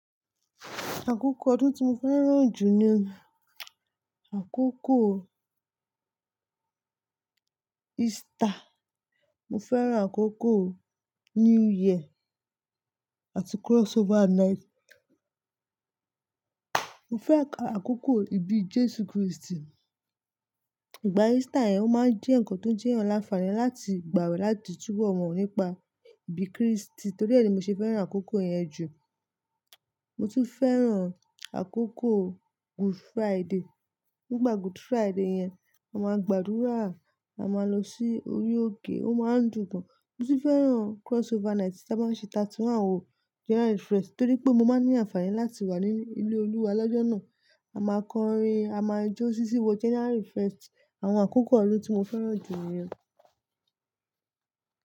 Àkókò ọdún tí mo fẹ́ràn jù jẹ àkókò Easter. Mo fẹ́ràn àkókò New Year àti crossover night. Mo fẹ́ràn àkókò ibi Jésù Krístì. Ìgbà Easter yẹn ó máa ń jẹ́ nǹkan tó jẹ́ ni aǹfààní láti gbàwẹ̀ láti túbọ̀ mọ̀ nípa ibi Krístì torí ẹ ni mo ṣe fẹ́ràn àkókò yẹn jù. Mo tún fẹ́ràn àkókò Good Friday. Nígbà Good Friday yẹn, a máa gbàdúrà, a máa lọ sí orí òkè, ó máa ń dùn gan. Mo tún fẹ́ràn crossover night tí a bá ṣe thirty one o, January first torí pé mo máa ní àǹfààní láti wà ní ilé Olúwa lọ́jọ́ náà. A máa kọrin, a máa jó sísi wo January first. Àwọn àkókò ọdún tí mo fẹ́ràn jù ni yẹn.